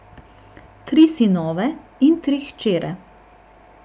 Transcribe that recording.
Tri sinove in tri hčere.